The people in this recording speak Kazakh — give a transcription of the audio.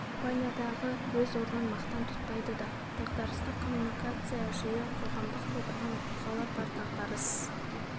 ол компаниядағы өз орнын мақтан тұтпайды да дағдарыстық коммуникация жиі қоғамдық тудырған оқиғалар бар дағдарыс